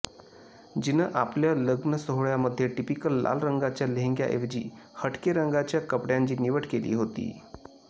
जिनं आपल्या लग्नसोहळ्यामध्ये टिपिकल लाल रंगाच्या लेहंग्याऐवजी हटके रंगाच्या कपड्यांची निवड केली होती